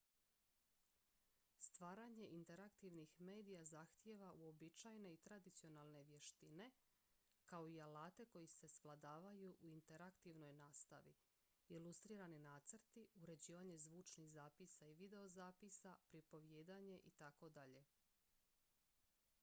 stvaranje interaktivnih medija zahtijeva uobičajene i tradicionalne vještine kao i alate koji se svladavaju u interaktivnoj nastavi ilustrirani nacrti uređivanje zvučnih zapisa i videozapisa pripovijedanje itd.